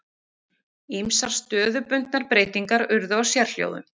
Ýmsar stöðubundnar breytingar urðu á sérhljóðum.